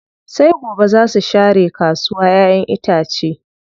Sai gobe zaa su share kasuwa ƴaƴen itace.